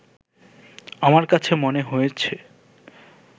আমার কাছে মনে হয়েছে